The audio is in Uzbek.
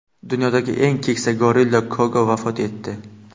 Dunyodagi eng keksa gorilla Koko vafot etdi.